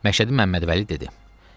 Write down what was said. Məşədi Məmmədvəli dedi: